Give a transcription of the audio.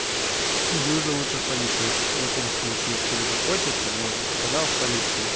иди уже лучше в полицию в таком случае если уже хочется но тогда в полицию